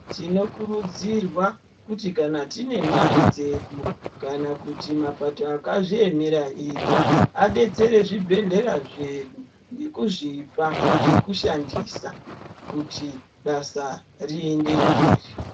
Tinokurudzirwa kuti kana tine mare dzedu kana kuti mapato akuzviemera ega adetsere zvibhehlera zvedu ngekuzvipa zvekushandisa kuti basa riende mberi .